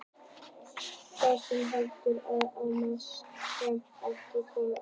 Það er ekki heldur ætlað öðrum en óhamingjusömum hefðarfrúm sem ekki koma í réttirnar.